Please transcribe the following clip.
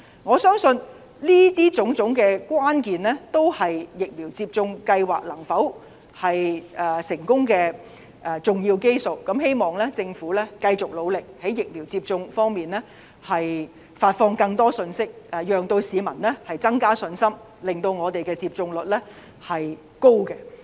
我相信上述種種關鍵，都是疫苗接種計劃能否成功的要素，希望政府繼續努力，在疫苗接種方面發放更多信息，以增加市民的信心，令我們有一個高的接種率。